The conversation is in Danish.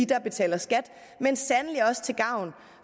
der betaler skat men sandelig også til gavn